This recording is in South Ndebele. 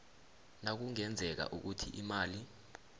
nakungenzeka ukuthi imali